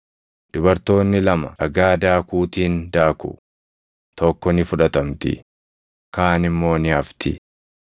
Dubartoonni lama dhagaa daakuutiin daaku; tokko ni fudhatamti; kaan immoo ni hafti.